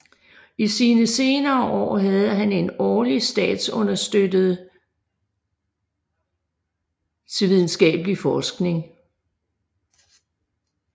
I sine senere år havde han en årlig statsunderstøttede til videnskabelig forskning